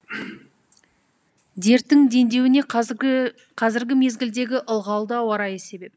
дерттің дендеуіне қазіргі мезгілдегі ылғалды ауа райы себеп